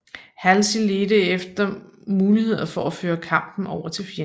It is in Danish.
Halsey ledte efter muligheder for at føre kampen over til fjenden